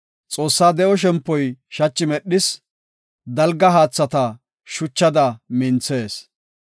Xoossaa de7o shempoy shachi medhees; dalga haathata shuchada minthees.